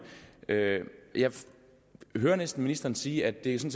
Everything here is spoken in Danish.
jeg hører næsten ministeren sige at det